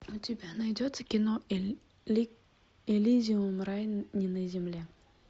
у тебя найдется кино элизиум рай не на земле